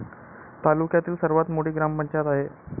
तालुक्यातील सर्वात मोठी ग्रामपंचायत आहे.